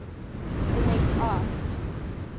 the lady asked